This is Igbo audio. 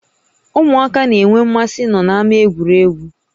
Ụmụaka na-énwé mmasị ịnọ na-ámá egwuregwu